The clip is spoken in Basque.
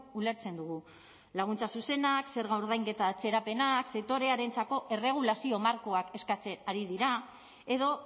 ulertzen dugu laguntza zuzenak zerga ordainketa atzerapenak sektorearentzako erregulazio markoak eskatzen ari dira edo